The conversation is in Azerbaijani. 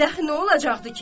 Bədəxi nə olacaqdı ki?